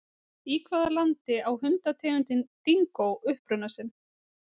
Í hvaða landi á hundategundin dingó uppruna sinn?